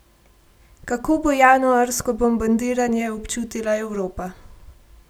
Kako bo januarsko bombardiranje občutila Evropa?